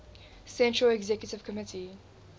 central executive committee